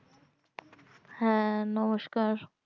হ্যাঁ নমস্কার